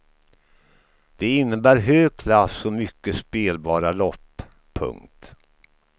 Det innebär hög klass och mycket spelbara lopp. punkt